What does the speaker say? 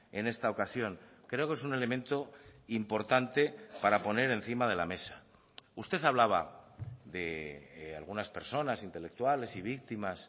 en esta ocasión creo que es un elemento importante para poner encima de la mesa usted hablaba de algunas personas intelectuales y víctimas